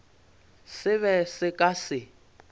se be se ka se